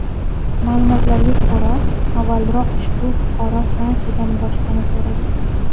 Ma’lumotlarga ko‘ra, avvalroq ushbu fuqaro Fransiyadan boshpana so‘ragan.